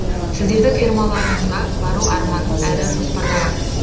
сіздердің фирмалараңызға бару арманым әрі жоспарда бар